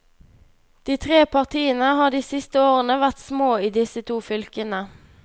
De tre partiene har de siste årene vært små i disse to fylkene.